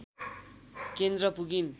केन्द्र पुगिन्